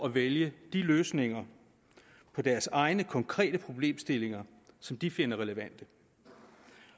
at vælge de løsninger på deres egne konkrete problemstillinger som de finder relevante